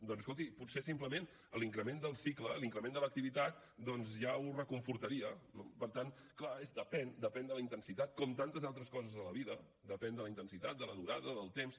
doncs escolti potser simplement l’increment del cicle l’increment de l’activitat doncs ja ho reconfortaria no per tant clar depèn depèn de la intensitat com tantes altres coses a la vida depèn de la intensitat de la durada del temps